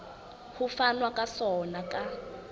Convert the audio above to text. ho fanwa ka sona ka